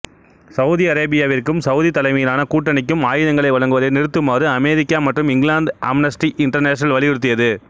Saudi அரேபியாவிற்கும் Saudi தலைமையிலான கூட்டணிக்கும் ஆயுதங்களை வழங்குவதை நிறுத்துமாறு அமெரிக்கா மற்றும் இங்கிலாந்துக்கு அம்னஸ்டி இன்டர்நேஷனல் வலியுறுத்தியது